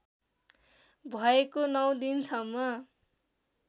भएको नौ दिनसम्म